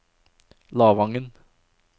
Lavangen